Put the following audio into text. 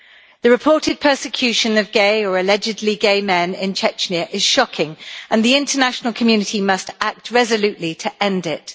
The reported persecution of gay, or allegedly gay, men in Chechnya is shocking, and the international community must act resolutely to end it.